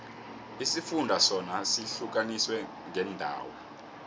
isifunda sona sihlukaniswe ngeendawo